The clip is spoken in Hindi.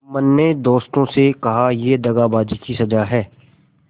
जुम्मन ने दोस्तों से कहायह दगाबाजी की सजा है